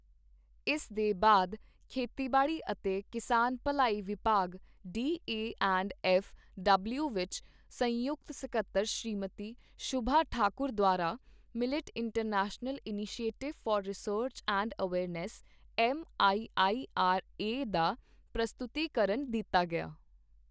ਇਸ ਦੇ ਬਾਅਦ ਖੇਤੀਬਾੜੀ ਅਤੇ ਕਿਸਾਨ ਭਲਾਈ ਵਿਭਾਗ D A and F W ਵਿੱਚ ਸੰਯੁਕਤ ਸਕੱਤਰ ਸ਼੍ਰੀਮਤੀ ਸ਼ੁਭਾ ਠਾਕੁਰ ਦੁਆਰਾ millet international initiative for research and awareness, M I I R A ਦਾ ਪ੍ਰਸਤੁਤੀਕਰਨ ਦਿੱਤਾ ਗਿਆ।